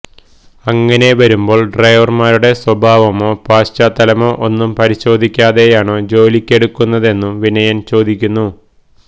അങ്ങനെ വരുമ്പോള് ഡ്രൈവര്മാരുടെ സ്വഭാവമോ പശ്ചാത്തലമോ ഒന്നും പരിശോധിക്കാതെയാണോ ജോലിക്കെടുക്കുന്നതെന്നും വിനയന് ചോദിക്കുന്നു